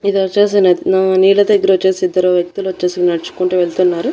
ఇదొచ్చేసి న నీల దగ్గరొచ్చేసి ఇద్దరు వ్యక్తులొచ్చేసి నడ్చుకుంటూ వెళ్తున్నారు.